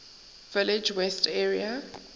village west area